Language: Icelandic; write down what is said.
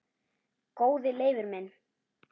Góði Leifur minn